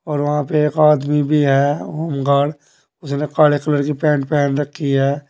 और वहां पे एक आदमी भी है होमगार्ड । जने काले कलर की पैंट पेहन रखी है।